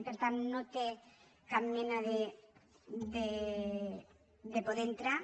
per tant no té cap mena de poder entrar